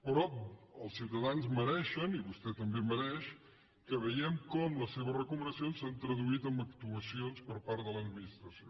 però els ciutadans mereixen i vostè també ho mereix que veiem com les seves recomanacions s’han traduït en actuacions per part de l’administració